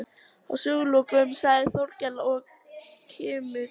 Að sögulokum sagði Þórkell og kímdi